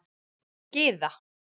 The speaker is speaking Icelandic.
Gyða